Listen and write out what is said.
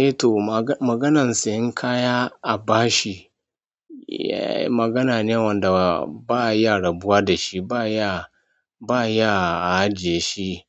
Eh to, maganan sayan kaya a bashi magana ne wanda ba ya rabuwa da shi, ba ya, ba ya ajiye shi